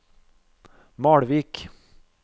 Malvik